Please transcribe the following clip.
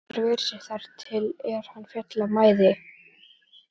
Gunnar ver sig þar til er hann féll af mæði.